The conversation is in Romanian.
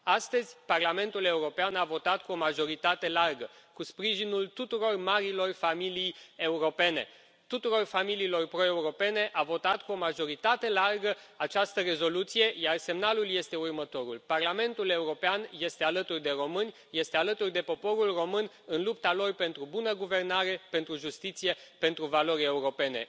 Astăzi, Parlamentul European a votat cu o majoritate largă cu sprijinul tuturor marilor familii europene, al tuturor familiilor proeuropene, a votat cu o majoritate largă această rezoluție, iar semnalul este următorul Parlamentul European este alături de români, este alături de poporul român în lupta lor pentru o bună guvernare, pentru justiție, pentru valori europene.